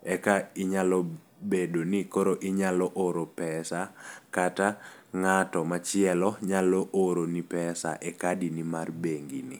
eka inyalo bedo ni koro inyalo oro pesa kata, ng'ato machielo nyalo oro ni pesa e kadi ni mar bengi ni.